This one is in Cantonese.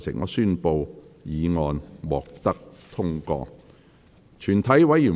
我宣布議案獲得通過。